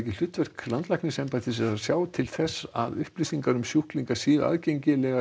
hlutverk landlæknisembættis að sjá til þess að upplýsingar um sjúkling séu aðgengilegar